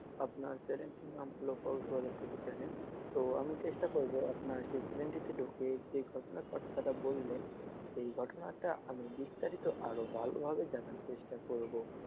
আপনার channel টির নাম হলো channel তো আমি চেষ্টা করবো আপনার সেই channel টিতে ঢুকে যে ঘটনার কথাটা বললেন সেই ঘটনাটা আমি বিস্তারিত আরও ভালোভাবে জানার জন্য চেষ্টা করবো।